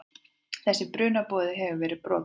Þessi brunaboði hefur verið brotinn.